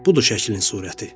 Budur şəklin surəti.